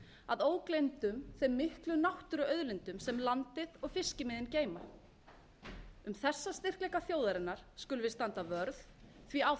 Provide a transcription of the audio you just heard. að ógleymdum þeim miklu náttúruauðlindum sem landið og fiskimiðin geyma um þessa styrkleika þjóðarinnar skulum við standa vörð því á